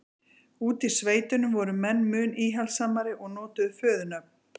úti í sveitunum voru menn mun íhaldssamari og notuðu föðurnöfn